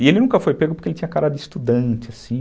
E ele nunca foi pego porque ele tinha a cara de estudante, assim.